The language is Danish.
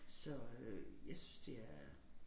Så øh jeg synes det er